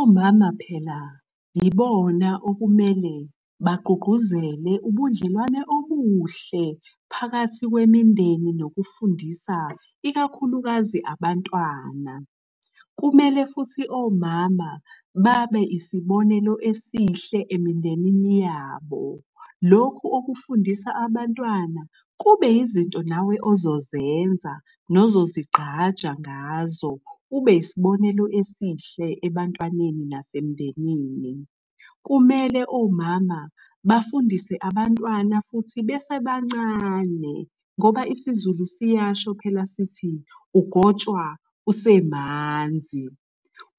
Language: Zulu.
Omama phela yibona okumele bagqugquzele ubudlelwane obuhle phakathi kwemindeni nokufundisa ikakhulukazi abantwana. Kumele futhi omama babe isibonelo esihle emindenini yabo. Lokhu okufundisa abantwana kube izinto nawe ozozenza nozozigqaja ngazo, ube yisibonelo esihle ebantwaneni nasemndenini. Kumele omama bafundise abantwana futhi besebancane ngoba isiZulu siyasho phela sithi, ugotshwa usemanzi.